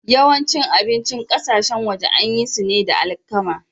Yawancin abincin ƙasashen waje an yi su ne da alkama.